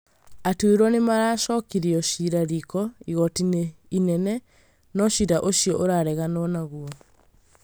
Atuĩrwo nĩmaracokirie ciira riiko igoti-inĩ inene no ciira ũcio ũrareganwo naguo